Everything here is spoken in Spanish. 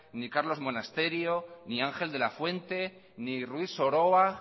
ni carlos monasterio ni ángel de la fuente ni ruiz soroa